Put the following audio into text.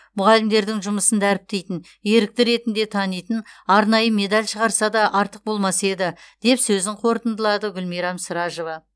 мұғалімдердің жұмысын дәріптейтін ерікті ретінде танитын арнайы медаль шығарса да артық болмас еді деп сөзін қорытындалады гүлмирам сражова